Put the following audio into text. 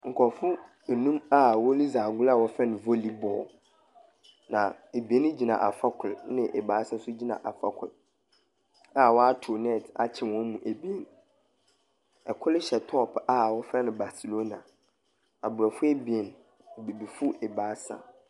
Nkorɔfo enum a woridzi agor a wɔfrɛ no volleyball, na ebien gyina afa kor na ebiasa so gyina afa kor a wɔatow net akyɛ hɔn mu ebien. Kor hyɛ top a wɔfrɛ no Barcelona. Aborɔfo ebien, Ebibifo ebiasa.